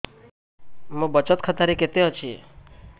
ମୋ ବଚତ ଖାତା ରେ କେତେ ଅଛି